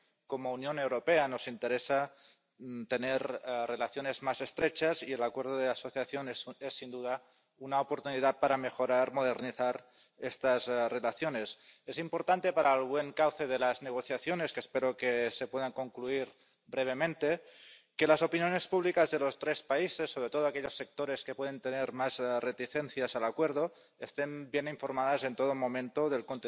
Como Unión Europea nos interesa tener relaciones más estrechas con ellos y el Acuerdo de Asociación es sin duda una oportunidad para mejorar y modernizar estas relaciones. Es importante para el buen cauce de las negociaciones —que espero que se puedan concluir brevemente— que las opiniones públicas de los tres países, sobre todo aquellos sectores que pueden tener más reticencias al Acuerdo, estén bien informadas en todo momento del